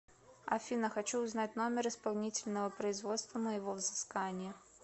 афина хочу узнать номер исполнительного производства моего взыскания